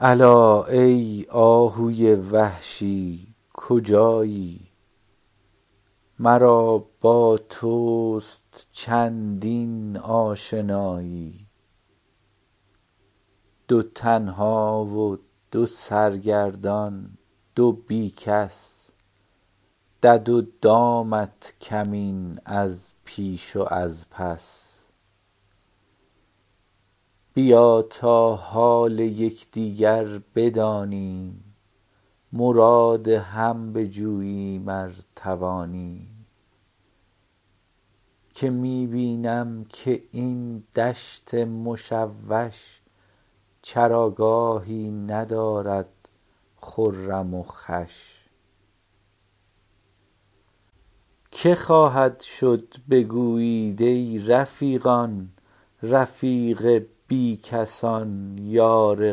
الا ای آهوی وحشی کجایی مرا با توست چندین آشنایی دو تنها و دو سرگردان دو بی کس دد و دامت کمین از پیش و از پس بیا تا حال یک دیگر بدانیم مراد هم بجوییم ار توانیم که می بینم که این دشت مشوش چراگاهی ندارد خرم و خوش که خواهد شد بگویید ای رفیقان رفیق بی کسان یار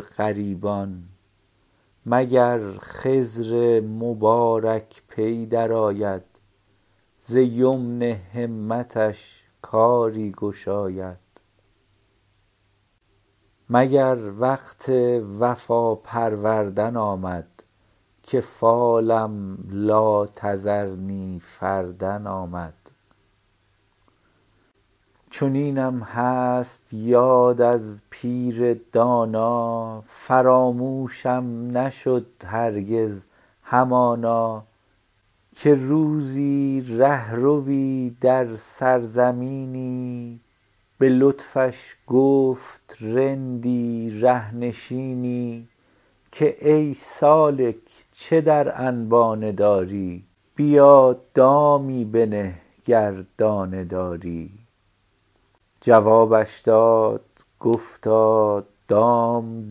غریبان مگر خضر مبارک پی درآید ز یمن همتش کاری گشاید مگر وقت وفا پروردن آمد که فالم لا تذرنی فردا آمد چنینم هست یاد از پیر دانا فراموشم نشد هرگز همانا که روزی ره روی در سرزمینی به لطفش گفت رندی ره نشینی که ای سالک چه در انبانه داری بیا دامی بنه گر دانه داری جوابش داد گفتا دام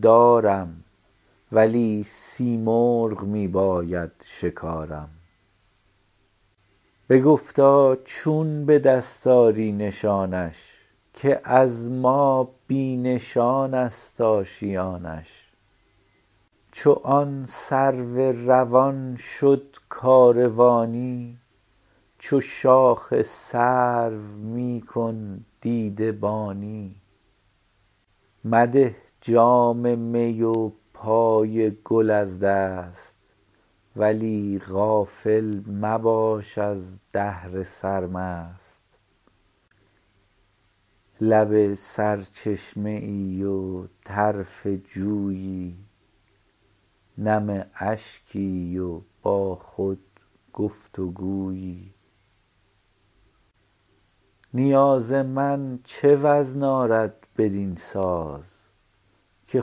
دارم ولی سیمرغ می باید شکارم بگفتا چون به دست آری نشانش که از ما بی نشان است آشیانش چو آن سرو روان شد کاروانی چو شاخ سرو می کن دیده بانی مده جام می و پای گل از دست ولی غافل مباش از دهر سرمست لب سرچشمه ای و طرف جویی نم اشکی و با خود گفت و گویی نیاز من چه وزن آرد بدین ساز که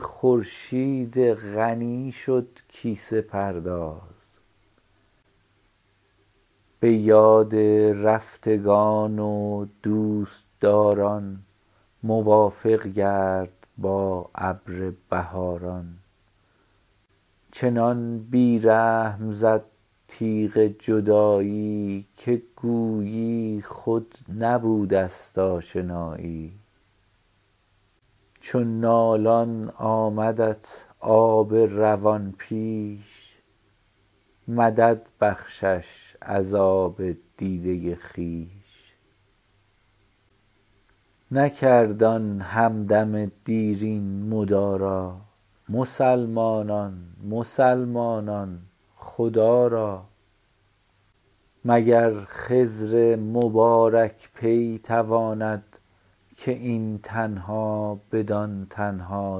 خورشید غنی شد کیسه پرداز به یاد رفتگان و دوست داران موافق گرد با ابر بهاران چنان بی رحم زد تیغ جدایی که گویی خود نبوده است آشنایی چو نالان آمدت آب روان پیش مدد بخشش از آب دیده خویش نکرد آن هم دم دیرین مدارا مسلمانان مسلمانان خدا را مگر خضر مبارک پی تواند که این تنها بدان تنها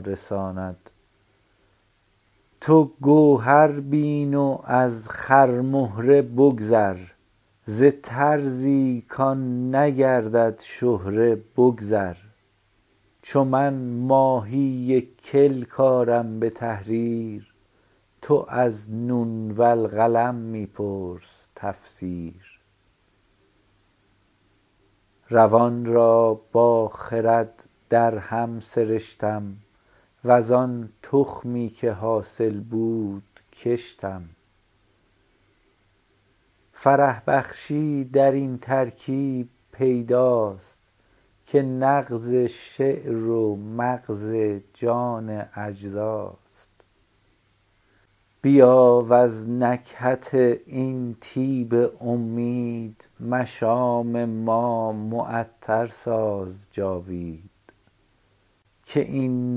رساند تو گوهر بین و از خرمهره بگذر ز طرزی کآن نگردد شهره بگذر چو من ماهی کلک آرم به تحریر تو از نون والقلم می پرس تفسیر روان را با خرد درهم سرشتم وز آن تخمی که حاصل بود کشتم فرح بخشی درین ترکیب پیداست که نغز شعر و مغز جان اجزاست بیا وز نکهت این طیب امید مشام جان معطر ساز جاوید که این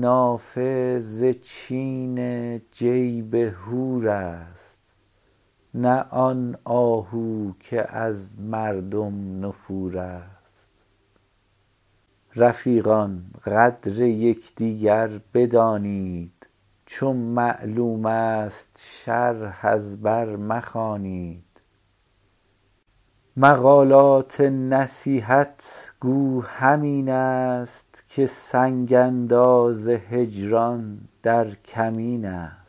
نافه ز چین جیب حور است نه آن آهو که از مردم نفور است رفیقان قدر یک دیگر بدانید چو معلوم است شرح از بر مخوانید مقالات نصیحت گو همین است که سنگ انداز هجران در کمین است